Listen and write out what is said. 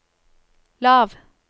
lav